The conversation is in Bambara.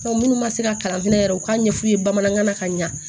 munnu ma se ka kalan fɛnɛ yɛrɛ u k'a ɲɛf'u ye bamanankan na ka ɲa